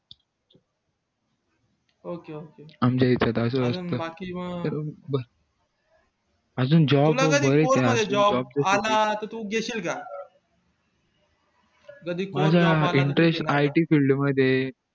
ok ok मला interest it field मध्ये ये